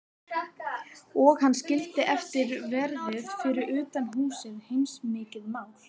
Og hann skildi eftir verði fyrir utan húsið, heilmikið mál.